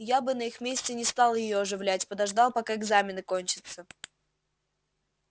я бы на их месте не стал её оживлять подождал пока экзамены кончатся